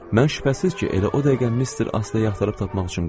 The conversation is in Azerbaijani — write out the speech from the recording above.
Mən şübhəsiz ki, elə o dəqiqə Mister Astleyi axtarıb tapmaq üçün qaçdım.